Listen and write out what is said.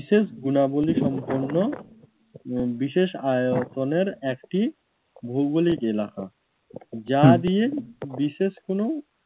বিশেষ গুণাবলী সম্পন্ন বিশেষ আয়তনের একটি ভৌগলিক এলাকা। যা দিয়ে বিশেষ কোনও